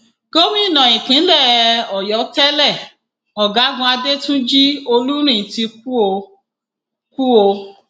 gómìnà ìpínlẹ ọyọ tẹlẹ ọgágun adẹtúnjì olúrin ti kú o kú o